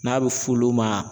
N'a bɛ f'olu ma